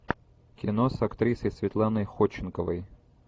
кино с актрисой светланой ходченковой